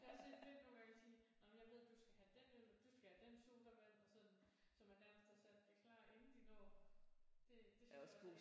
Det er også lidt vildt nogle gange og sige jamen jeg ved du skal have den øl og du skal have den sodavand og sådan så man nærmest har sat det klart inden de når det det synes jeg